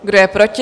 Kdo je proti?